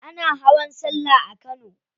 Ana hawan sallah a kano.